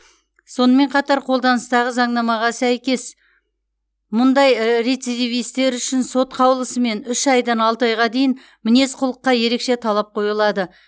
сонымен қатар қолданыстағы заңнамаға сәйкес мұндай рецидивистер үшін сот қаулысымен үш айдан алты айға дейін мінез құлыққа ерекше талап қойылады